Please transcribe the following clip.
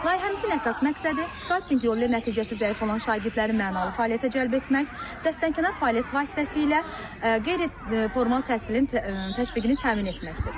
Layihəmizin əsas məqsədi skauting yolu ilə nəticəsi zəif olan şagirdləri mənalı fəaliyyətə cəlb etmək, dəstənxar fəaliyyət vasitəsilə qeyri-formal təhsilin təşviqini təmin etməkdir.